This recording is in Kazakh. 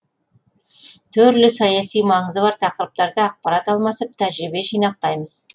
түрлі саяси маңызы бар тақырыптарда ақпарат алмасып тәжірибе жинақтаймыз